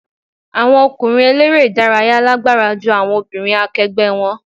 Àwọn ọkùnrin eléré ìdárayá lágbára ju àwọn obìnrin akẹgbẹ́ wọn.